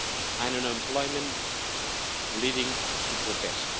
and unemployment leading to protests.